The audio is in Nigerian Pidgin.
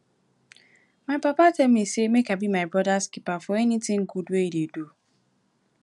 my papa tell me say make i be my brother's keeper for anything good he dey do